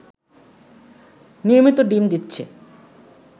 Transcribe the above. নিয়মিত ডিম দিচ্ছে